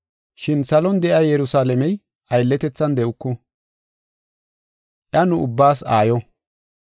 Shin salon de7iya Yerusalaamey aylletethan de7uku; iya nu ubbaas aayo.